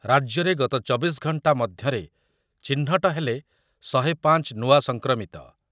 ରାଜ୍ୟରେ ଗତ ଚବିଶ ଘଣ୍ଟା ମଧ୍ୟରେ ଚିହ୍ନଟ ହେଲେ ଶହେ ପାଞ୍ଚ ନୂଆ ସଂକ୍ରମିତ ।